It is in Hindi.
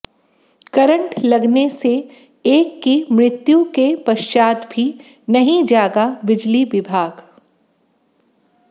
करंट लगने से एक की मृत्यु के पश्चात भी नहीं जागा बिजली विभाग